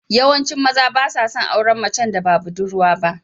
Yawancin maza ba sa son auren macen da ba budurwa ba.